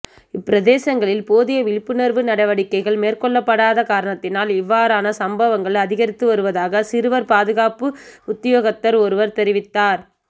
இப்பிரதேசங்களில் போதிய விழிப்புணர்வு நடவடிக்கைகள் மேற்கொள்ளப்படாத காரணத்தினால் இவ்வாறான சம்பவங்கள் அதிகரித்து வருவதாக சிறுவர் பாதுகாப்பு உத்தியோகத்தர் ஒருவர் தெரிவித்தார்